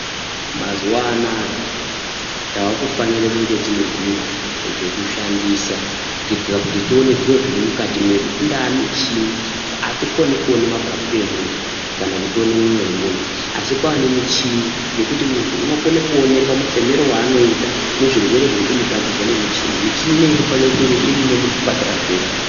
Mazuva anaya taakufanire kunge tinezviro zvekushandisa kuitira kuti tione zviro zviri mukati mwedu. Ingaa michini, hatikoni kuone mapapu emuntu kana kutione moyo wemuntu. Asi kwaanemichini yekuti muntu unokone kuonekwa mufemero waanoita nezvirwere zviri kumutambudza nemichini. Michini ineyi inofanire kunge irimo muzvipatara zvedu.